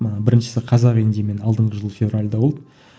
біріншісі қазақ индимен алдыңғы жылы февральда болды